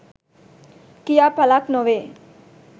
කියා පලක් නොවේ.